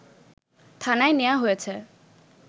থানায় নেয়া হয়েছে